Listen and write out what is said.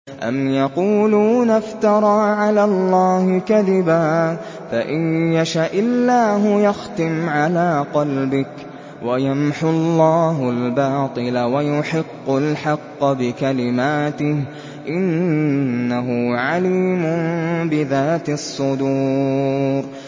أَمْ يَقُولُونَ افْتَرَىٰ عَلَى اللَّهِ كَذِبًا ۖ فَإِن يَشَإِ اللَّهُ يَخْتِمْ عَلَىٰ قَلْبِكَ ۗ وَيَمْحُ اللَّهُ الْبَاطِلَ وَيُحِقُّ الْحَقَّ بِكَلِمَاتِهِ ۚ إِنَّهُ عَلِيمٌ بِذَاتِ الصُّدُورِ